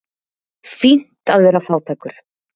Fínt að vera fátækur.